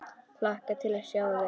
Hlakka til að sjá þig.